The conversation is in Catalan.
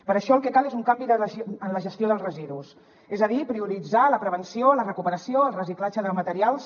per això el que cal és un canvi en la gestió dels residus és a dir prioritzar la prevenció la recuperació el reciclatge de materials